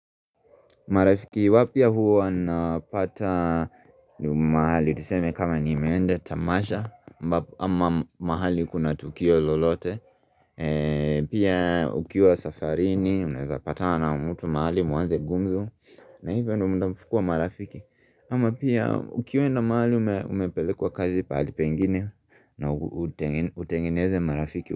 Marafiki wapya huwa nawapata mahali tuseme kama nimeenda tamasha ama mahali kuna tukio lolote Pia ukiwa safarini, unaeza patana na mutu mahali muanze gumzo na hivyo ndo mdafukua marafiki ama pia ukiwenda mahali umepelekwa kazi pahali pengine na utengeneze marafiki.